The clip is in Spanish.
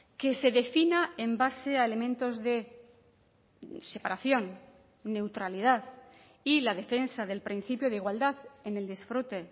que se defina en base a elementos de separación neutralidad y la defensa del principio de igualdad en el disfrute